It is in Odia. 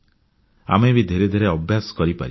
ଆମେ ବି ଧିରେ ଧିରେ ଅଭ୍ୟାସ କରିପାରିବା